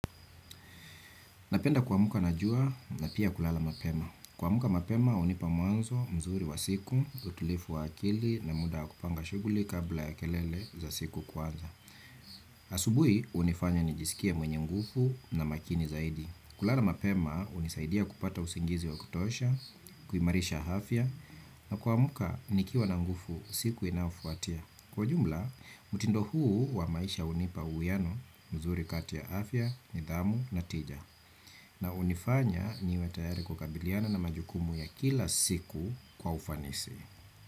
Napenda kuamka na jua, na pia kulala mapema. Kuamka mapema hunipa mwanzo mzuri wa siku, utulivu wa akili na muda wa kupanga shughuli kabla ya kelele za siku kwanza. Asubuhi, hunifanya nijisikie mwenye nguvu na makini zaidi. Kulala mapema, hunisaidia kupata usingizi wa kutosha, kuimarisha afya, na kuamka, nikiwa na nguvu siku inayofuatia. Kwa ujumla, mtindo huu wa maisha hunipa uwiano mzuri kati ya afya, nidhamu na tija. Na hunifanya niwe tayari kukabiliana na majukumu ya kila siku kwa ufanisi.